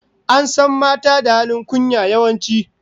An san mata da halin kunya, yawanci